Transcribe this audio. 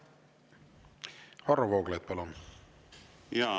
Varro Vooglaid, palun!